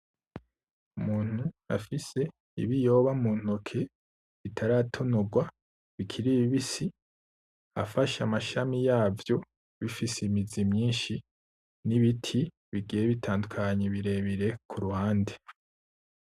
Umuntu afise ibiyoba muntoke bitaratonogwa bikiri bibisi afashe amashami yavyo bifise imizi myinshi nibiti bigiye bitandukanye birebire kuruhande